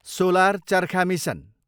solar चर्खा mission